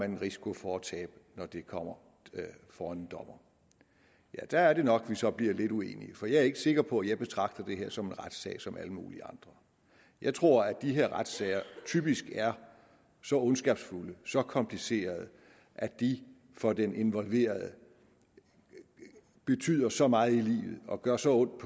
en risiko for at tabe når det kommer for en dommer ja der er det nok vi så bliver lidt uenige for jeg er ikke sikker på at jeg betragter det her som en retssag som alle mulige andre jeg tror at de her retssager typisk er så ondskabsfulde så komplicerede at de for den involverede betyder så meget i livet og gør så ondt